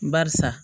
Barisa